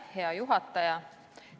Hea juhataja!